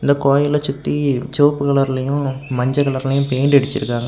இந்த கோயிலைச் சுத்தி செவப்பு கலர்லயு மஞ்செ கலர்லையும் பெயிண்ட் அடிச்சிருக்காங்க.